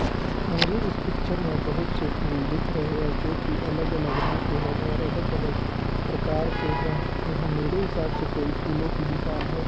मुझे इस पिक्चर में बहुत से फूल दिख रहे हैं जो की अलग अलग रंग के हैं और अलग अलग प्रकार के हैं यहां मेरे हिसाब से कोई फूलों की दुकान है।